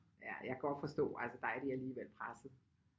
Ja jeg kan godt forstå der er de alligevel pressede